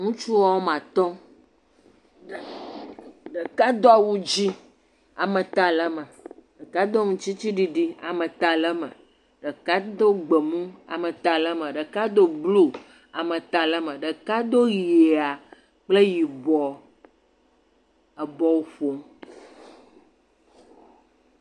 Ŋutsu woame atɔ̃, ame ɖeka do awu dzɛ̃, ameta le eme, ɖeka do aŋutiɖiɖi, ameta le me, ɖeka do gbemu, ameta le me, ɖeka do blu ameta le me, ɖeka do ʋɛ̃a kple yibɔ, ebɔlu ƒom.